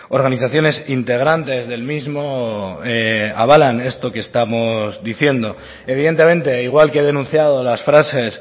organizaciones integrantes del mismo avalan esto que estamos diciendo evidentemente igual que denunciado las frases